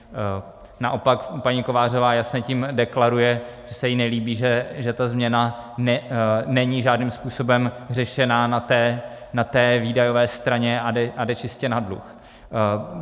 Naopak paní Kovářová jasně tím deklaruje, že se jí nelíbí, že ta změna není žádným způsobem řešena na té výdajové straně a jde čistě na dluh.